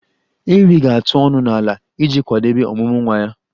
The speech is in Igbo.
Ewii ga-atụ ọnụ n'ala iji kwadebe ọmụmụ nwa ya.